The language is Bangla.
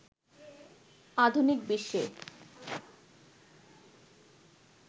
আধুনিক বিশ্বে